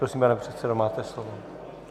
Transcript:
Prosím, pane předsedo, máte slovo.